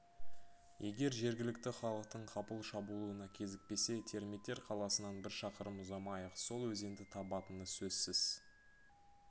егер жергілікті халықтың қапыл шабуылына кезікпесе термиттер қаласынан бір шақырым ұзамай-ақ сол өзенді табатыны сөзсіз